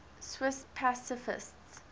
swiss pacifists